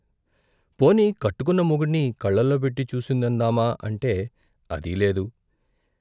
పోనీ కట్టుకున్న మొగుణ్ణి కళ్ళలో పెట్టి చూసిందందామా అంటే అదీ లేదు.